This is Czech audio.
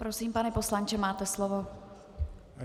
Prosím, pane poslanče, máte slovo.